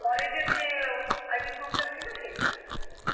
college এর যে ও ID proof টা ছিল সেইটা.